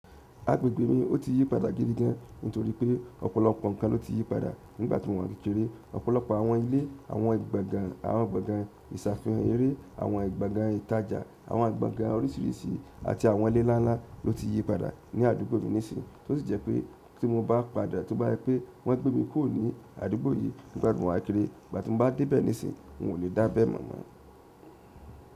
Agbègbè mi ó ti yí padà gidi gan, nítorí pé ọ̀pọ̀lọpọ̀ nǹkan ló ti yí padà nígbà tí mo wà kékeré. Ọ̀pọ̀lọpọ̀ àwọn ilé, àwọn àwọn gbọ̀ngàn ìṣàfihàn eré, àwọn gbọ̀ngàn ìtajà, àwọn agbọ̀ngàn oríṣiríṣi àti àwọn ilé nlá ńlá ló ti yí padà ní àdúgbò mi nísìn, tó sì jẹ́ pé tí mo bá padà, tó bá jẹ́ pé wọ́n gbé mi kúrò ní àdúgbò yìí nígbà tí mo wá kéré, nígbà tí mo bá dé bẹ̀ nísìn, n ò lè dábẹ́ mọ̀ mọ́.